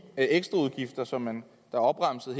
ekstraudgifter som man har opremset